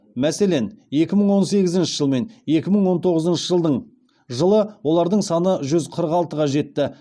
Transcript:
мәселен екі мың он сегізінші жылмен екі мың он тоғызыншы жылы оладың саны жүз қырық алтыға жетті